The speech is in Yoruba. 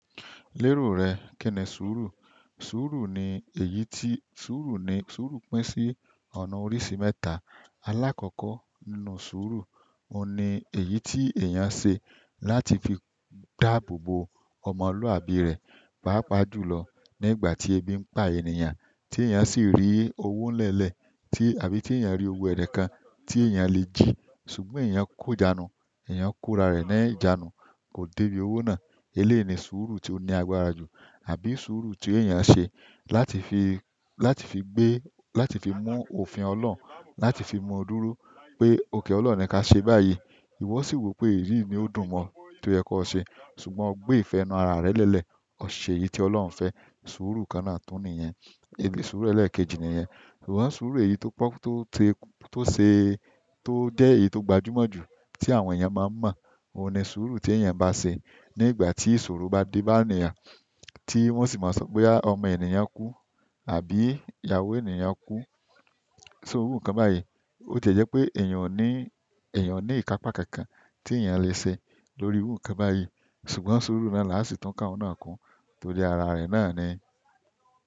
Lérò rẹ̀ kini sùúrù. Sùúrù ni èyí tí, sùúrù ni, sùúrù pín sí ọ̀nà oríṣi mẹ́ta. Alákọ̀ọ́kọ́ nínú sùúrù, òun ni èyí tí èèyàn se láti fi dáàbò bo ọmọlúàbí rẹ̀, pàápàá jùlọ ní ìgbà tí ebi ń pa ènìyàn tí èèyàn sì rí owó nlẹ́lẹ̀ tí àbí tí èèyàn rí owó ẹnikan tí èèyàn le jí ṣùgbọ́n èèyàn kò ijanú, èèyàn kóra rẹ̀ ní ìjánu, kò dé bí owó náà. Elèi ni sùúrù tí ó ni agbára jù àbí sùúrù tí èèyàn se láti fi, láti fi gbé, láti fi mu òfin Ọlọ́run, láti fi mọ dúró pé òkè Ọlọ́run ni ká ṣe báyìí. Iwọ si wo pe eyii nio dùn mọ toyẹ kọ se, ṣùgbọ́n ọ gbe ìfẹ́ inú ara rẹ lẹlẹ ọ ṣe èyí ti Ọlọrun ọba fẹ. Sùúrù kan náà tún nìyẹn. Suuru ẹlẹẹkeji niyẹn. Ṣùgbọ́n suuru èyí to se, to jẹ èyí to gbajumọ ju to àwọn ènìyàn maa n mọ oun ni suuri ti eyan ba se ni ogbati ìṣòro ba de ba ènìyàn, ti wọn si maa sọ pe aa ọmọ ènìyàn ku, àbí ìyàwó ènìyàn ku. So oru kan báyìí, ó ti jẹ́ pé èèyàn ò ní, èèyàn ní ìkápá kankan tí èèyàn le ṣe lórí irú nǹkan báyìí. Ṣùgbọ́n sùúrù náà là á sì tún ká oun náà kun torí ara rẹ̀ náà ni.